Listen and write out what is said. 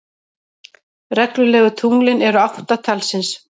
Reglulegu tunglin eru átta talsins.